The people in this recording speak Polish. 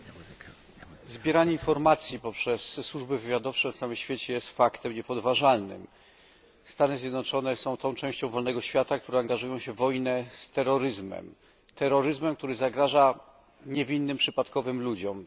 Panie Przewodniczący! Zbieranie informacji poprzez służby wywiadowcze na całym świecie jest faktem niepodważalnym. Stany Zjednoczone są tą częścią wolnego świata, które angażują się w wojnę z terroryzmem, który zagraża niewinnym przypadkowym ludziom.